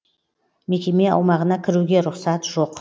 мекеме аумағына кіруге рұқсат жоқ